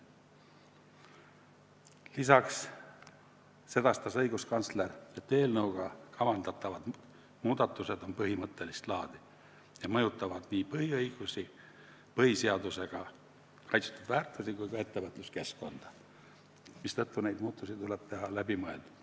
Lisaks sedastas õiguskantsler, et eelnõuga kavandatavad muudatused on põhimõttelist laadi ja mõjutavad nii põhiõigusi, põhiseadusega kaitstud väärtusi kui ka ettevõtluskeskkonda, mistõttu neid muudatusi tuleb teha läbimõeldult.